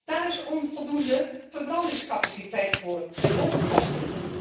Daar is onvoldoende verbrandingscapaciteit voor, met hoge kosten.